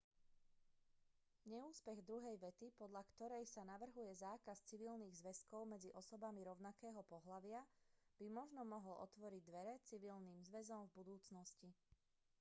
neúspech druhej vety podľa korej sa navrhuje zákaz civilných zväzkov medzi osobami rovnakého pohlavia by možno mohol otvoriť dvere civilným zväzom v budúcnosti